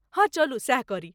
हँ, चलू सैह करी।